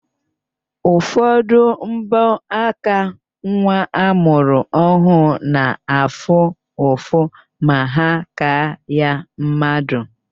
Ụfọdụ mbọaka nwa amụrụ ọhụrụ na-afụ ụfụ ma ha kaa ya mmadụ.